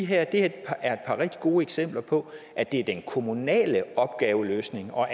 her et par rigtig gode eksempler på at det er den kommunale opgaveløsning og